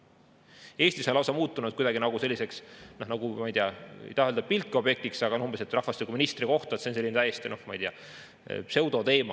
Eestis on lausa muutunud kuidagi nagu selliseks, ma ei taha öelda, et pilkeobjektiks, aga on umbes nii, et rahvastikuministri koht on selline täiesti, noh, ma ei tea, pseudoteema.